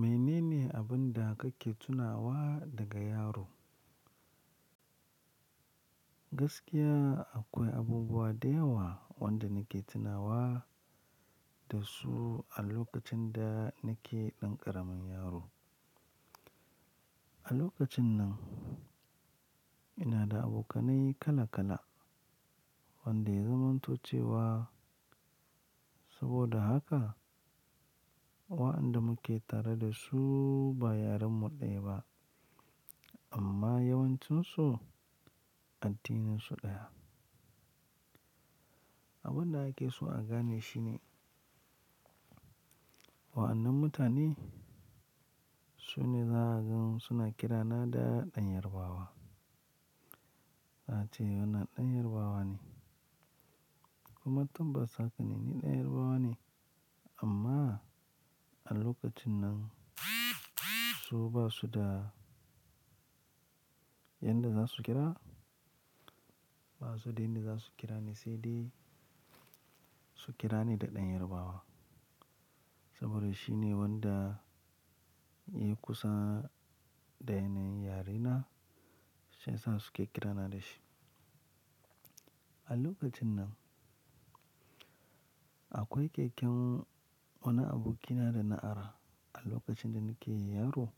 Mene ne abun da kake tunawa daga yaro? Gaskiya akwai abubuwa da yawa wanda nake tunawa da su a lokacin da nake ɗan ƙaramin yaro. A lokacin nan ina da abokanai kala kala wanda yaza manto cewa saboda haka wa'anda muke tare da su ba yaren mu ɗaya ba amma yawancinsu addinin su ɗaya. Abun da ake so a gane shi ne, wannan mutane sune za'a gan suna kirana da ɗan yarabawa. Na ce wannan ɗan yarabawa ne. Kuma tun ba sa gani ni ɗan yarabawa ne amma a lokacin nan su basu da yanda za su kira, basu da inda za su kira ni sai dai su kira ni da ɗan yarabawa. Saboda shi ne wanda ya kusa da yanayin yare na shiyasa suke kirana da shi. A lokacin nan akwai keken wannan aboki na dana ara a lokacin da nake yaro.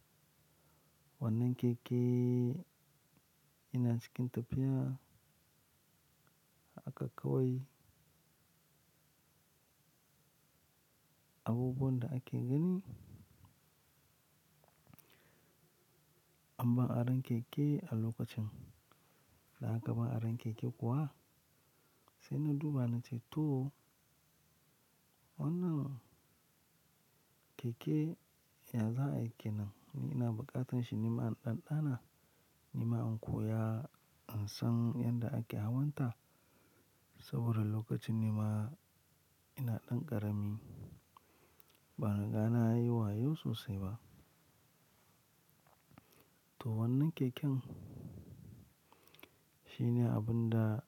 Wannan keke ina cikin tafiya haka kawai abubuwan da ake gani. Amma aron keke a lokacin da aka ba aron keke kuwa sai na duba na ce to wannan keke ya za'a yike nan ni ina buƙatan shi nima in ɗanɗana nima an koya in san yanda ake hawan ta saboda lokacin nima ina ɗan ƙarami ban riga nayi wayau sosai ba. To wannan keken shine abun da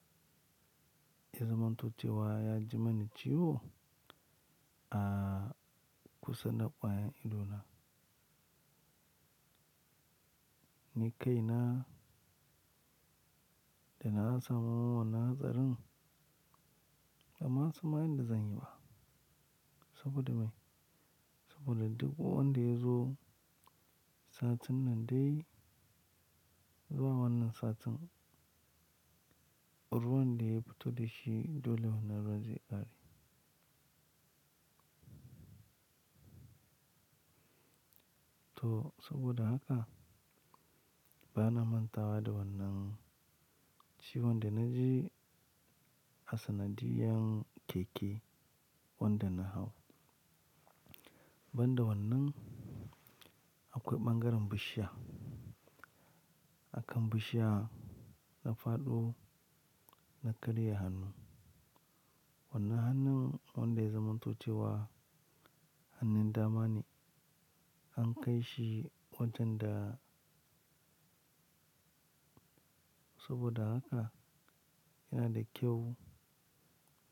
ya zamanto cewa ya ji mani ciwo a kusa da ƙwayen idona. Ni kai na da na samu wannan hatsarin da masu mayar da zanyi ba saboda me? Saboda duk wanda ya zo satin nan dai zuwa wannan satin ruwan da ya fito da shi dole wannan ruwan zai ƙare. To saboda haka bana manta wa da wannan ci wanda na ji a sanadiyan keke wanda na hau. Ban da wannan akwai ɓangaren bishiya. Akan bishiya na faɗo na karya hannu. Wannan hannun wanda ya za manto cewa hannun dama ne an kai shi watan da saboda haka yana da kyau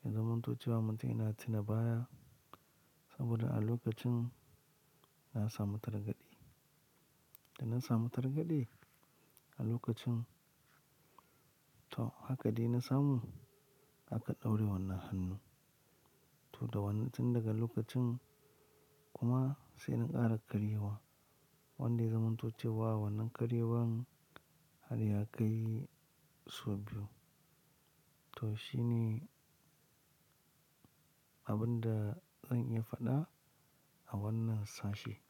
in zamanto cewa mutun yana tuna baya saboda a lokacin na samu targade. Da na samu targade a lokacin to haka dai na samu aka ɗauri wannan hannu. To da wannan cin daga lokacin kuma sai na ƙara karyewa wanda ya za manto cewa wannan karyewar har ya kai sau biyu. To shi ne abun da zan iya faɗa a wannan sashe.